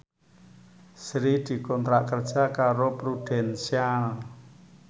Sri dikontrak kerja karo Prudential